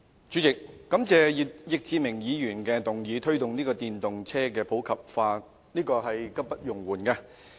主席，我感謝易志明議員提出"推動電動車普及化"的議案，這是刻不容緩的。